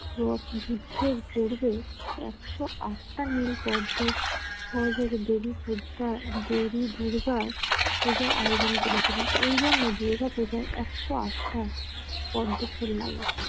রথ যুদ্ধের পূর্বে একশো আটটা নীল পদ্ম স্বর্গের দেবী দেবী দুর্গার পূজার আয়োজন করেছিল। এজন্য দুর্গাপূজায় একশো আটটা পদ্মফুল লাগে